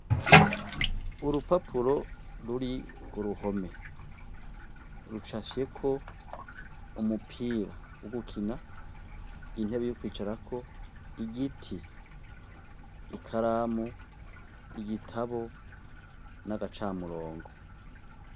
Urupapuro ruri kuruhome rucafyeko umupira wo gukina, intebe yo kwicarako, igiti ikaramu, igitabu n'agacamurongo.